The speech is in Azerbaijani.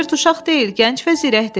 Robert uşaq deyil, gənc və zirəkdir.